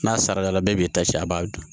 N'a sarala bɛ ta a b'a dun